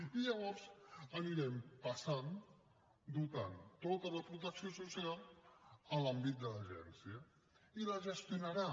i llavors anirem passant i donarem tota la protecció social a l’àmbit de l’agència i la gestionarà